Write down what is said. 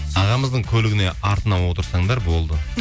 ағамыздың көлігіне артына отырсаңдар болды